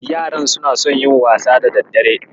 Yaran suna son yin wasa da daddare.